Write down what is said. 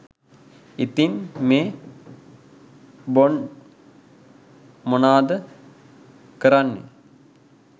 ඉතින් මේ බොන්ඩ් මොනාද කරන්නේ